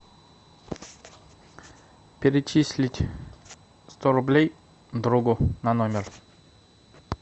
перечислить сто рублей другу на номер